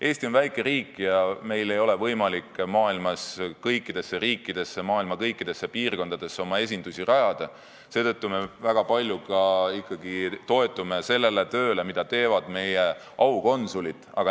Eesti on väike riik ja meil ei ole võimalik kõikidesse riikidesse, maailma kõikidesse piirkondadesse oma esindusi rajada, seetõttu me toetume väga palju ikkagi sellele tööle, mida teevad aukonsulid.